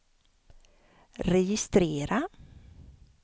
registrera